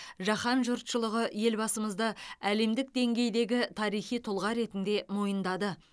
жаһан жұртшылығы елбасымызды әлемдік деңгейдегі тарихи тұлға ретінде мойындады